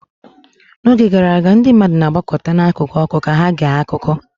N'oge gara aga, ndị mmadụ na-agbakọta n'akụkụ ọkụ ka ha gee akụkọ